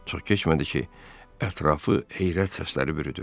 Çox keçmədi ki, ətrafı heyrət səsləri bürüdü.